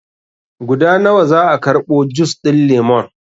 Guda nawa za a karɓo jus ɗin lemon?